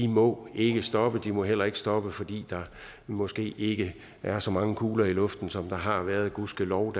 må ikke stoppe og de må heller ikke stoppe fordi der måske ikke er så mange kugler i luften som der har været og gudskelov